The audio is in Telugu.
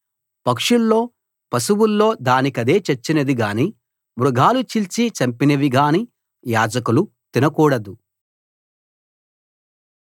పక్షుల్లో పశువుల్లో దానికదే చచ్చినది గాని మృగాలు చీల్చి చంపినవి గానీ యాజకులు తినకూడదు